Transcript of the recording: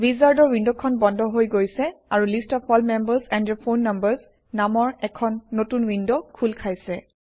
wizard উইণ্ডখন বন্ধ হৈ গৈছে আৰু list of all members and their phone numbers নামৰ এখন নতুন উইণ্ড খোল খাইছে